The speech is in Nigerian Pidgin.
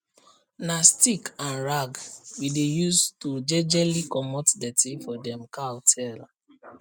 na stick and rag we dey use to jejely comot dirty for dem cow tail